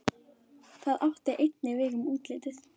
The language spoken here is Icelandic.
Það átti einnig við um útlitið.